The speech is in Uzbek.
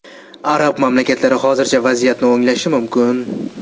Arab mamlakatlari hozircha vaziyatni o‘nglashi mumkin.